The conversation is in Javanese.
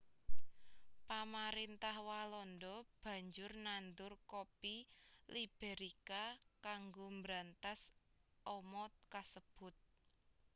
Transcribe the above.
Pamarintah Walanda banjur nandur kopi Liberika kanggo mbrantas ama kasebut